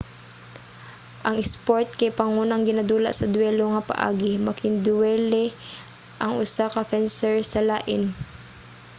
ang isport kay pangunang ginadula sa duwelo nga paagi making-duwele ang usa ka fencer sa lain